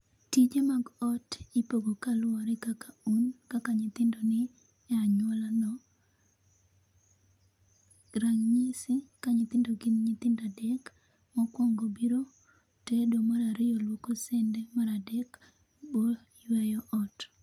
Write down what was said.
Tije mag ot ipogo kaluore kaka un, kaka nyithindo ni e anyuola no.Ranyisi ka nyithindo gin nyithindo adek, mokuongo biro tedo ,mar ariyo luoko sende, mar adek bo yweyo ot